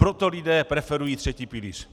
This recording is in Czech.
Proto lidé preferují třetí pilíř.